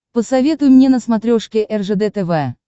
посоветуй мне на смотрешке ржд тв